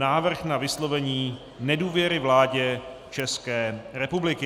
Návrh na vyslovení nedůvěry vládě České republiky